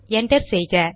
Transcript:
enter செய்க